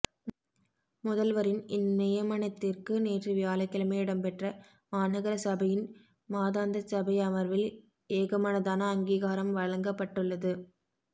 முதல்வரின் இந்நியமனத்திற்கு நேற்று வியாழக்கிழமை இடம்பெற்ற மாநகரசபையின் மாதாந்தசபை அமர்வில் ஏகமனதான அங்கிகாரம் வழங்கப்பட்டுள்ளது